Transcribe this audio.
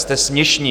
Jste směšní!